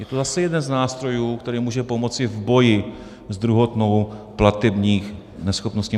Je to zase jeden z nástrojů, který může pomoci v boji s druhotnou platební neschopností.